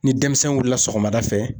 Ni denmisɛn wilila sɔgɔmada fɛ